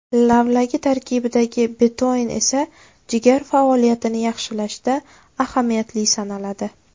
Lavlagi tarkibidagi betoin esa jigar faoliyatini yaxshilashda ahamiyatli sanaladi.